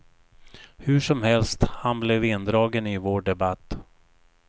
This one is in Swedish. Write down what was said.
Hur som helst, han blev indragen i vår debatt.